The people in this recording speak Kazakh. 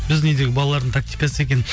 біздің үйдегі балалардың тактикасы екен